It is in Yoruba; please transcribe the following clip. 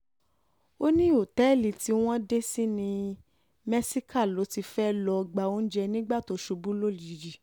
ó ní òtẹ́ẹ̀lì tí um wọ́n dé sí ní mẹ́síkà ló ti fẹ́ẹ́ lọ́ọ́ gba oúnjẹ nígbà um tó ṣubú lójijì